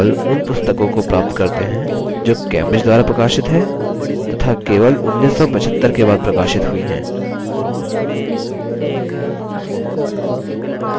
केवल उन पुस्तकों को प्राप्त करते हैं जो cambridge द्वारा प्रकाशित हैं तथा जो केवल 1975 के बाद प्रकाशित हुई हैं